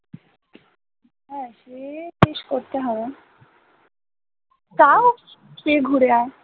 হ্যাঁ সে শেষ করতে হবে তাও গিয়ে ঘুরে আয়